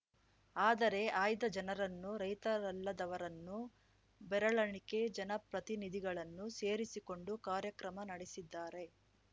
ಆದರೆ ಆಯ್ದ ಜನರನ್ನು ರೈತರಲ್ಲದವರನ್ನು ಬೆರಳೆಣಿಕೆ ಜನಪ್ರತಿನಿಧಿಗಳನ್ನು ಸೇರಿಸಿಕೊಂಡು ಕಾರ್ಯಕ್ರಮ ನಡೆಸಿದ್ದಾರೆ